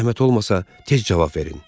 Zəhmət olmasa tez cavab verin.